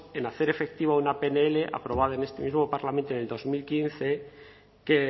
en hacer efectiva una pnl aprobada en este mismo parlamento en dos mil quince que